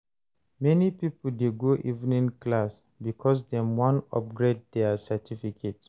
Many pipo dey go evening class because dem wan upgrade their certificate.